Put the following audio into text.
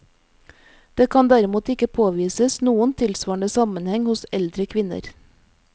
Det kan derimot ikke påvises noen tilsvarende sammenheng hos eldre kvinner.